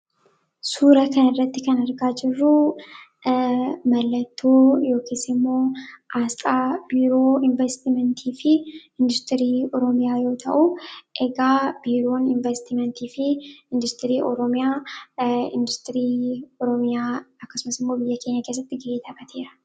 Suuraa kanaa gadii irratti kan argamu kun suuraa mallattoo investimentii fi turizimii Oromiyaati. Biiroon kunis biyya keenya keessatti ga'ee kan qabu dha.